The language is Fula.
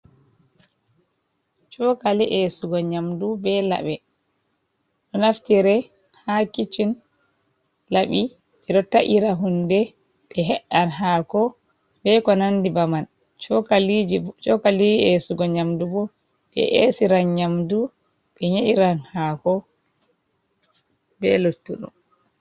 Chokali esugo nyamdu, be laɓe. Ɗo naftire ha kichin, laɓi be do ta’ira hunde, be he’an hako be ko nandi baman. Chokaliji chokali esugo nyamdu bo be esiran nyamdu, ɓe nyeɗiran hako be lottudum.